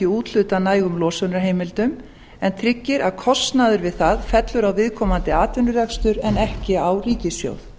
úthlutað nægum losunarheimildum en tryggir að kostnaður við það fellur á viðkomandi atvinnurekstur en ekki á ríkissjóð